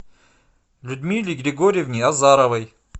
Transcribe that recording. людмиле григорьевне азаровой